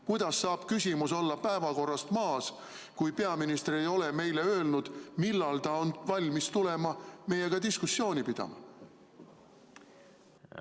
Kuidas saab küsimus olla päevakorrast maas, kui peaminister ei ole meile öelnud, millal ta on valmis tulema meiega diskussiooni pidama?